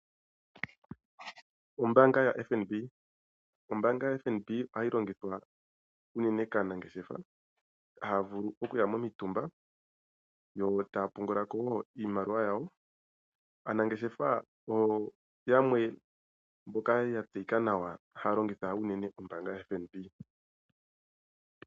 Ombaanga yoFNB, ombaanga yo FNB ohayi longithwa unene kaanangeshefa, haavulu okuya momitumba yo taa pungula ko woo iimaliwa yawo. Aanangeshefa oyo yamwe mboka yatseyika nawa haya ,longitha unene ombaanga yoFNB.